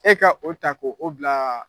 E ka o ta ko o bila